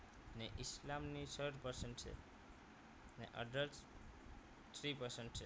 ઇસ્લામ ની છ જ percent છે અને others three percent છે